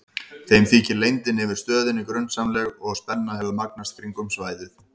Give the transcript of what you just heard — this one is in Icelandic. Þeim þykir leyndin yfir stöðinni grunsamleg og spenna hefur magnast kringum svæðið.